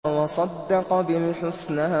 وَصَدَّقَ بِالْحُسْنَىٰ